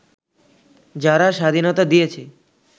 যারা স্বাধীনতা দিয়েছে